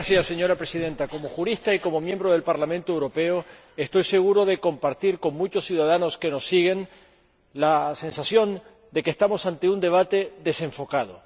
Señora Presidenta, como jurista y como diputado al Parlamento Europeo, estoy seguro de compartir, con muchos ciudadanos que nos siguen, la sensación de que estamos ante un debate desenfocado.